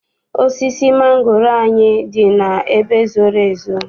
Osisi mangoro anyị dị n'ebe zoro ezo.